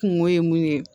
Kungo ye mun ye